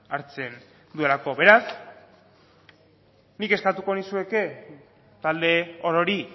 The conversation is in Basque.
hartzen duelako beraz nik eskatuko nizueke talde orori